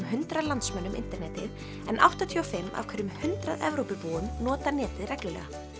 hundrað landsmönnum internetið en áttatíu og fimm af hverjum hundrað Evrópubúum nota netið reglulega